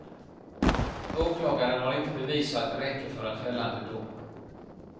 Åklagaren har inte bevis så att det räcker för en fällande dom.